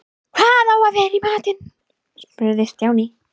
Hvað á að vera í matinn? spurði Stjáni.